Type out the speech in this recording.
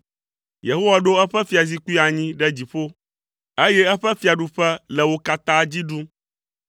Yehowa ɖo eƒe fiazikpui anyi ɖe dziƒo, eye eƒe fiaɖuƒe le wo katã dzi ɖum.